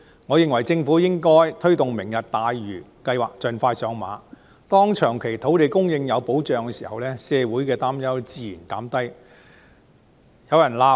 我認為政府應該推動"明日大嶼"計劃盡快上馬，當長期土地供應有保障時，社會的擔憂自然得以紓緩。